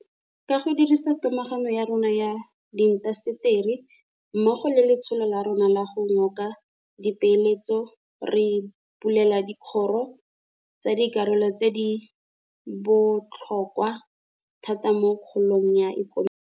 Ka go dirisa togamaano ya rona ya diintaseteri mmogo le letsholo la rona la go ngoka dipeeletso re bulela dikgoro tsa dikarolo tse di bo tlhokwa thata mo kgolong ya ikonomi.